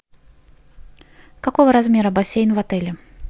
какого размера бассейн в отеле